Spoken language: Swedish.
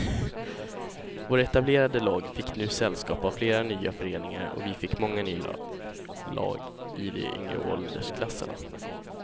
Våra etablerade lag fick nu sällskap av flera nya föreningar och vi fick många nya lag i de yngre åldersklasserna.